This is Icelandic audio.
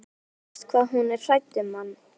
Verst hvað hún er hrædd um mann.